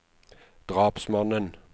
drapsmannen